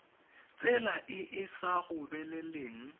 tsela e e sa gobeleleng